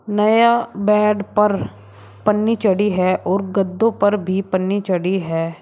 नया बेड पर पन्नी चढ़ी है और गद्दों पर भी पन्नी चढ़ी है।